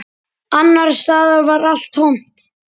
Annars staðar var allt tómt.